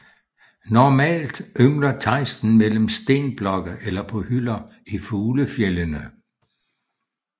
Normalt yngler tejsten mellem stenblokke eller på hylder i fuglefjeldene